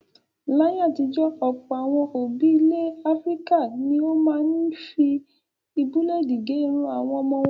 Láyé àtijọ́ Ọ̀pọ̀ àwọn òbí ilẹ̀ Áfíríkà ni ó máa ń fi búlédì gẹ irun àwọn ọmọ wọn.